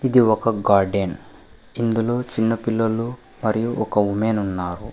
ఇది ఒక గార్డెన్ ఇందులో చిన్నపిల్లలు మరియు ఒక ఉమెన్ ఉన్నారు.